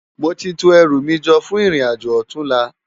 Móti tó èrú mi jò fún irin ájó òtúnlá